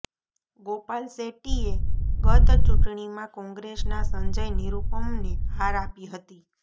ગોપાલ શેટ્ટીએ ગત ચૂંટણીમાં કોંગ્રેસના સંજય નિરુપમને હાર આપી હતી